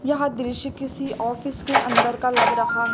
यह दृश्य किसी ऑफिस के अंदर का लग रहा है।